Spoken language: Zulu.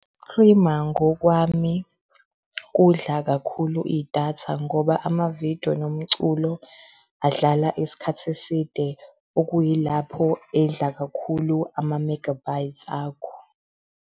Uku-streamer ngokwami kudla kakhulu idatha ngoba ama-video nomculo adlala isikhathi eside, okuyilapho edla kakhulu ama-megabytes akho.